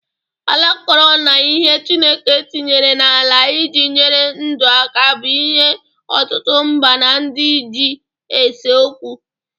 Ala akọrọ na ihe chineke tinyere n'ala iji nyere ndụ aka bụ̣ ihe ọtụtụ mba na ndị ji ese okwu.